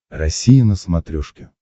россия на смотрешке